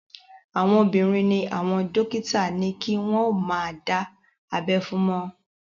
Àwọn obìnrin ni àwọn dókítà ní kí wọ́n ó má dá abẹ́ fún mọ́